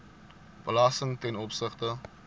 belasting ten opsigte